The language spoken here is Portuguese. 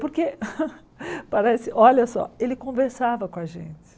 Porque parece... Olha só, ele conversava com a gente.